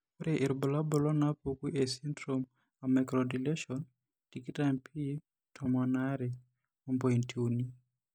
Kainyio irbulabul onaapuku esindirom emicrodeletione tikitam p tomon aare ompointi uni?